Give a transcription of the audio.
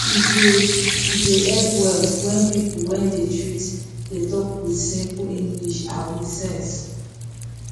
e dey e dey help well when people wey dey treat dey talk with simple english and with sense